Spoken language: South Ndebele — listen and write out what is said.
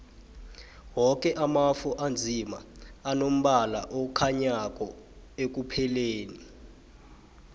woke amafu anzima anombala okhanyako ekupheleni